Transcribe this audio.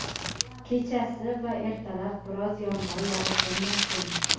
kechasi va ertalab biroz yomg‘ir yog‘ishi mumkin.